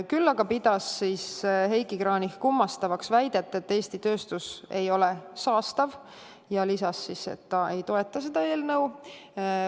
Küll aga pidas Heiki Kranich kummastavaks väidet, et Eesti tööstus ei ole saastav, ja lisas, et ta ei toeta seda eelnõu.